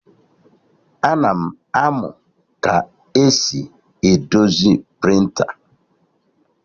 Ana m amụ ka esi edozi prịnta